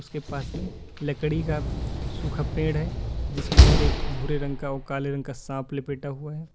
के पास में लकड़ी का सूखा पेड़ है जिसके ऊपर एक भूरे रंग का और काले रंग का सांप लपेटा हुआ है।